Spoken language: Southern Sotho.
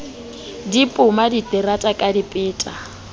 di poma diterata ka dipeta